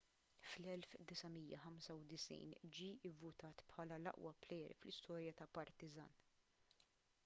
fl-1995 ġie vvutat bħala l-aqwa plejer fl-istorja ta' partizan